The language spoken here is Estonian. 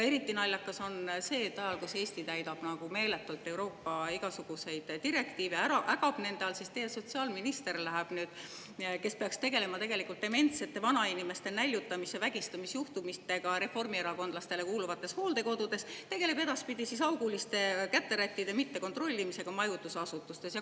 Eriti naljakas on see, et ajal, kui Eesti täidab meeletult Euroopa igasuguseid direktiive, ägab nende all, teie sotsiaalminister, kes peaks tegelema dementsete vanainimeste näljutamise ja vägistamise juhtumitega reformierakondlastele kuuluvates hooldekodudes, tegeleb edaspidi auguliste käterättide mittekontrollimisega majutusasutustes.